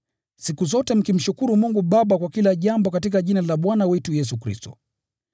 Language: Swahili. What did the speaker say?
siku zote mkimshukuru Mungu Baba kwa kila jambo katika Jina la Bwana wetu Yesu Kristo.